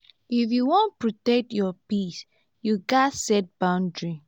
if you wan protect your peace you gats set boundaries.